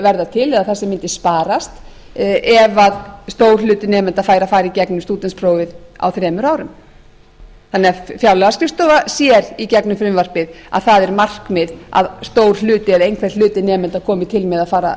til eða það sem mundi sparast ef stór hluti nemenda fær að fara í gegnum stúdentsprófið á þremur árum þannig að fjárlagaskrifstofan sér í gegnum frumvarpið að það er markmið að stór hluti eða einhver hluti nemenda komi til með að